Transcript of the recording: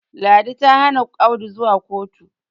ladi ta Hana Audu zuwa kotu